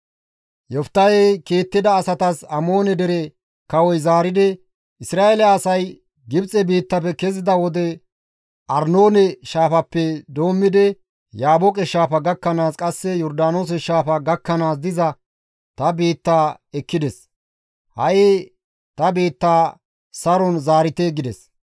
Yoftahey kiittida asatas Amoone dere kawoy zaaridi, «Isra7eele asay Gibxe biittafe kezida wode Arnoone shaafappe doommidi Yaabooqe Shaafa gakkanaas qasse Yordaanoose shaafa gakkanaas diza ta biitta ekkides; ha7i ta biitta saron zaarite» gides.